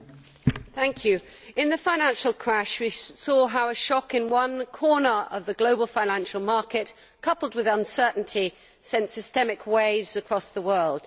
Madam President, in the financial crash we saw how a shock in one corner of the global financial market, coupled with uncertainty, sent systemic waves across the world.